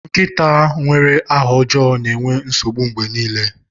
Nkịta nwere aha ọjọọ na-enwe nsogbu mgbe niile.